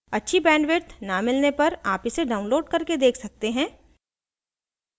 अच्छी bandwidth न मिलने पर आप इसे download करके देख सकते हैं